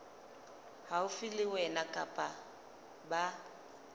haufi le wena kapa ba